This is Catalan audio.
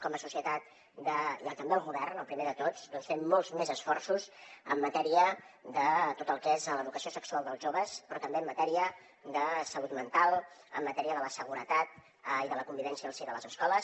com a societat i també el govern el primer de tots hem de fer molts més esforços en matèria de tot el que és l’educació sexual dels joves però també en matèria de salut mental en matèria de la seguretat i de la convivència al si de les escoles